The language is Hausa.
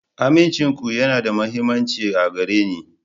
Amincinku yana da mahimmanci a gare ni.